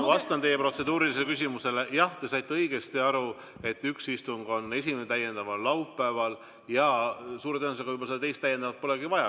Ma vastan teie protseduurilisele küsimusele: jah, te saite õigesti aru, et üks istung, esimene täiendav istung on laupäeval, ja suure tõenäosusega seda teist täiendavat polegi vaja.